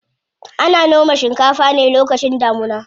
Ana noma shinkafa ne lokacin damuna.